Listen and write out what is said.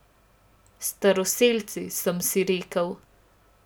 Staroselci, sem si rekel.